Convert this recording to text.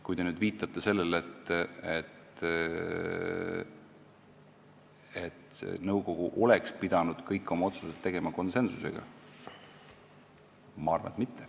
Kui te viitasite sellele, et nõukogu oleks pidanud kõik oma otsused tegema konsensuslikult, siis mina arvan, et mitte.